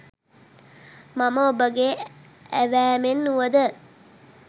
මම ඔබගේ ඇවෑමෙන් වුවද